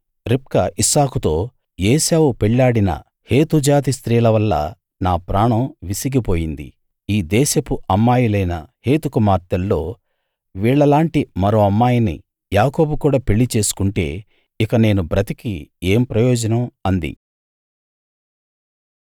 రిబ్కా ఇస్సాకుతో ఏశావు పెళ్ళాడిన హేతు జాతి స్త్రీల వల్ల నా ప్రాణం విసిగిపోయింది ఈ దేశపు అమ్మాయిలైన హేతు కుమార్తెల్లో వీళ్ళలాంటి మరో అమ్మాయిని యాకోబు కూడా పెళ్ళి చేసుకుంటే ఇక నేను బతికి ఏం ప్రయోజనం అంది